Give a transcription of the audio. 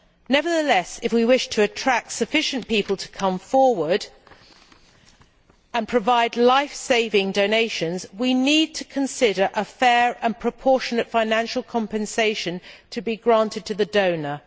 Nevertheless, if we wish to attract sufficient people to come forward and provide life saving donations, we need to consider granting a fair and proportionate financial compensation to the donor.